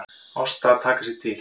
Ásta að taka sig til.